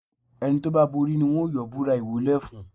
Ẹni tó bá borí ni wọ́n yóò búrà ìwọlé fún.